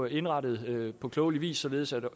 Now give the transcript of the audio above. indrettet på klogelig vis således at